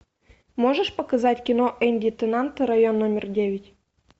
можешь показать кино энди теннант район номер девять